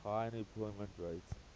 high unemployment rate